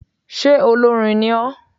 Sé olórin ní o?